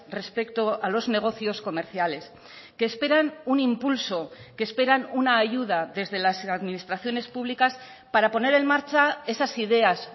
respecto a los negocios comerciales que esperan un impulso que esperan una ayuda desde las administraciones públicas para poner en marcha esas ideas